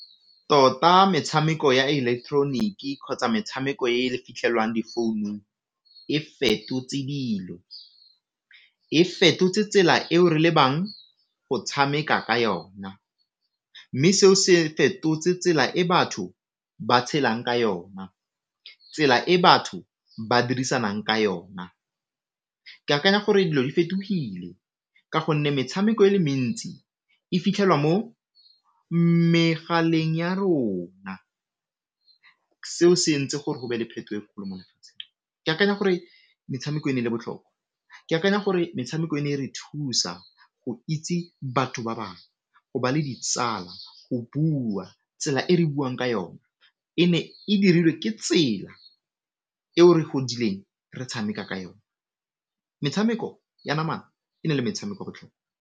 Tota metshameko ya electronic kgotsa metshameko e fitlhelwang di founung e fetotse dilo, e fetotse tsela eo re lebang go tshameka ka yona, mme seo se fetotse tsela e batho ba tshelang ka yona, tsela e batho ba dirisanang ka yona. Ke akanya gore dilo di fetogile ka gonne metshameko e le mentsi e fitlhelwa mo megaleng ya rona seo se entse gore go be le phetogo e kgolo mo ke akanya gore metshameko e ne e le botlhokwa, ke akanya gore metshameko e ne e re thusa go itse batho ba bangwe, go ba le ditsala, go bua tsela e re buang ka yone e ne e dirilwe ke tsela eo re godileng re tshameka ka yone, metshameko ya namana e ne e le metshameko .